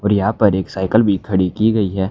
और यहां पर एक साइकिल भी खड़ी की गई है।